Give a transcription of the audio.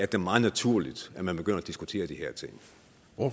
da meget naturligt at man begynder at diskutere de